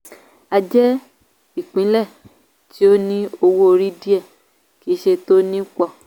a jẹ́ ìpínlẹ̀ tó ní owó orí díẹ kì í ṣe tó ní pọ.